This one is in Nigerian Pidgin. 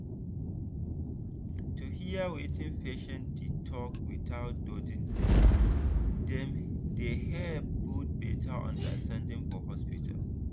to hear wetin patient dey talk without judging dem dey help build better understanding for hospital.